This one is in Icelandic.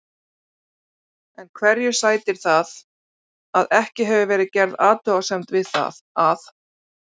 En hverju sætir það að ekki hefur verið gerð athugasemd við það að